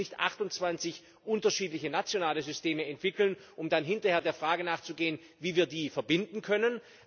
Wir sollten jetzt nicht 28 unterschiedliche nationale Systeme entwickeln, um dann hinterher der Frage nachzugehen, wie wir die verbinden können.